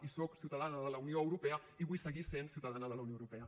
i soc ciutadana de la unió europea i vull seguir sent ciutadana de la unió europea